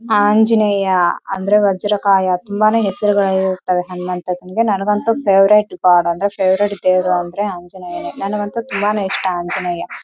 ಆಂಜನೇಯ ಅಂದ್ರೆ ವಜ್ರಕಾಯ ತುಂಬಾನೆ ಹೆಸರುಗಳು ಇರುತ್ವೆ ಹನುಮಂತನಿಗೆ ನನಗಂತೂ ಫೇವರೇಟ್‌ ಗಾಡ್‌ ಅಂದ್ರೆ ಫೇವರೇಟ್‌ ದೇವ್ರು ಅಂದ್ರೆ ಆಂಜನೇಯ ನನಗಂತೂ ತುಂಬಾನೆ ಇಷ್ಟ ಆಂಜನೇಯ.